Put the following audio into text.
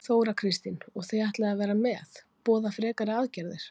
Þóra Kristín: Og þið ætlið að vera með, boða frekari aðgerðir?